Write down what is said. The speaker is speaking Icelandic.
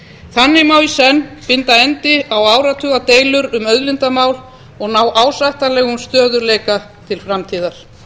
þannig má í senn binda enda á áratugadeilur um auðlindamál og ná ásættanlegum stöðugleika til framtíðar